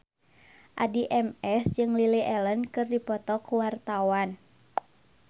Addie MS jeung Lily Allen keur dipoto ku wartawan